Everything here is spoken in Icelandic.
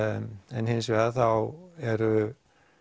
en hins vegar þá er